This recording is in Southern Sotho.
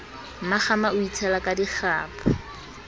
mmakgama a itshela ka dikgapha